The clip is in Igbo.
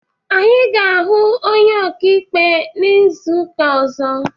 Anyị ga ahụ onye ọkaikpe n'izuka ozo